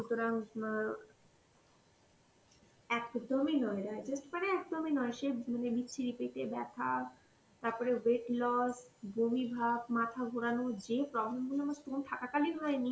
সুতরাং অ্যাঁ একদমই নয় digest মানে একদমই নয় সে মানে বিচ্ছিরি পেটে ব্যথা তাপরে weight loss, বমি ভাব, মাথা ঘোরানো যে problem গুলো আমার stone থাকাকালীন হয়নি